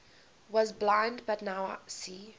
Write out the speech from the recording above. was blind but now see